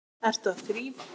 Ertu að þrífa?